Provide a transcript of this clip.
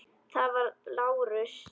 Það var Lárus.